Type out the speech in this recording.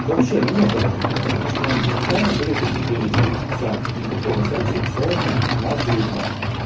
вообще намёка даже не было потому что изначально были такие приоритеты всё никакого секса всё у нас дружба